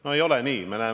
No ei ole nii!